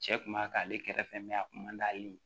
Cɛ kun b'a kɛ ale kɛrɛfɛ mɛ a kun man d'ale ye